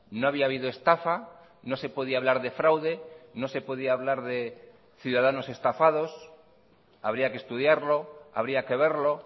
no había habido estafa no se podía hablar de fraude no se podía hablar de ciudadanos estafados habría que estudiarlo habría que verlo